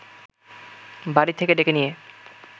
বাড়ি থেকে ডেকে নিয়ে